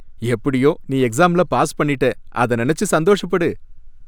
எப்படியோ நீ எக்ஸாம்ல பாஸ் பண்ணிட்ட, அத நினைச்சு சந்தோஷப்படு.